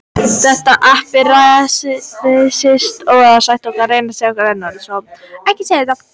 Ísland í tölum- Landmælingar Íslands.